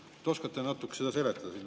Kas te oskate natuke seda seletada?